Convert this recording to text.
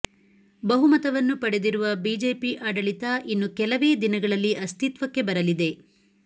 ಬಹು ಮತವನ್ನು ಪಡೆದಿರುವ ಬಿಜೆಪಿ ಆಡಳಿತ ಇನ್ನು ಕೆಲವೇ ದಿನಗಳಲ್ಲಿ ಅಸ್ತಿತ್ವಕ್ಕೆ ಬರಲಿದೆ